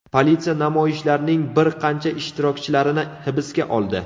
Politsiya namoyishlarning bir qancha ishtirokchilarini hibsga oldi.